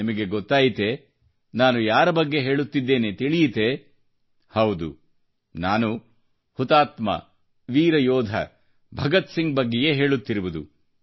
ನಿಮಗೆ ಗೊತ್ತಾಯಿತೇ ನಾನು ಯಾರ ಬಗ್ಗೆ ಹೇಳುತ್ತಿದ್ದೇನೆ ಎಂದು ಹೌದು ನಾನು ಹುತಾತ್ಮ ವೀರಯೋಧ ಭಗತ್ಸಿಂಗ್ ಬಗ್ಗೆಯೇ ಹೇಳುತ್ತಿರುವುದು